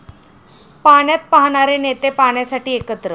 पाण्यात पाहणारे नेते पाण्यासाठी एकत्र!